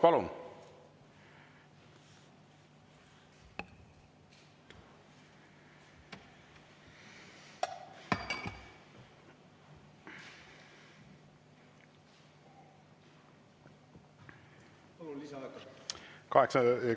Palun!